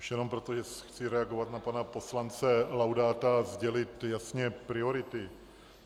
Už jenom proto, že chci reagovat na pana poslance Laudáta a sdělit jasně priority.